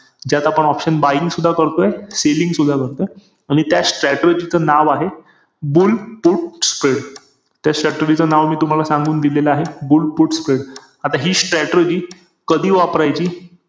mumbai Indians ही एक अशी अशी एकमेव team आहे की ज्याने पाच match line मध्ये जिंकले आहे.